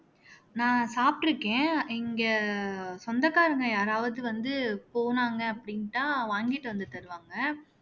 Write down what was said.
நான் சாப்பிட்டிருக்கேன் இங்க சொந்தக்காரங்க யாராவது வந்து போனாங்க அப்படின்னுதான் வாங்கிட்டு வந்து தருவாங்க